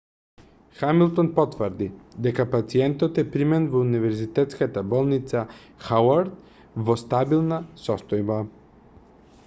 хамилтон потврди дека пациентот е примен во универзитетската болница хауард во стабилна состојба